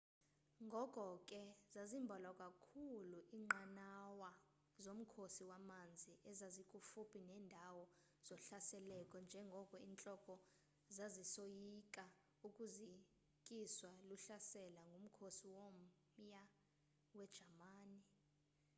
ngoko ke zazimbalwa kakhulu inqanawa zomkhosi wamanzi ezazikufuphi nendawo zohlaseleko njengoko intloko zasisoyika ukuzikiswa luhlaselo ngumkhosi womya wejamani